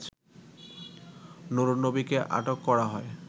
নুরুন্নবীকে আটক করা হয়